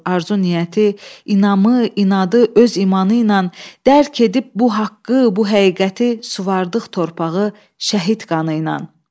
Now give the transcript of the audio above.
Arzu niyyəti, inamı, inadı öz imanı ilə dərk edib bu haqqı, bu həqiqəti suvardıq torpağı şəhid qanı ilə.